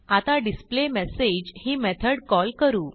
आता डिस्प्लेमेसेज ही method call करू